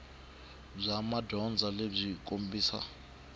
bya madyondza byi kombisa